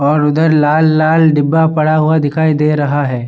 और उधर लाल-लाल डिब्बा पड़ा हुआ दिखाई दे रहा है।